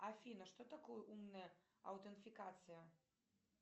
афина что такое умная аутентификация